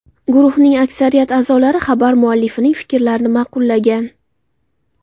Guruhning aksariyat a’zolari xabar muallifining fikrlarini ma’qullagan.